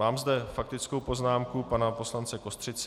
Mám zde faktickou poznámku pana poslance Kostřici.